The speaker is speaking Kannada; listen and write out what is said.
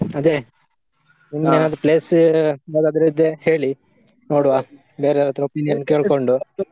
ಅದೇ place ಯಾವದಾದ್ರು ಇದ್ರೆ ಹೇಳಿ , ನೋಡುವ ಬೇರೆವರತ್ರ ಕೇಳ್ಕೊಂಡು.